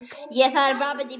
Í það er bundið snæri.